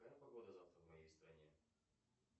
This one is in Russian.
какая погода завтра в моей стране